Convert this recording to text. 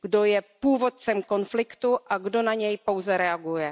Kdo je původcem konfliktu a kdo na něj pouze reaguje.